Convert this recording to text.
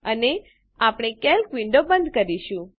અને આપણે calc window બંધ કરીશું